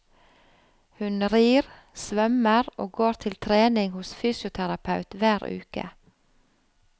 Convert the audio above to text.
Hun rir, svømmer og går til trening hos fysioterapeut hver uke.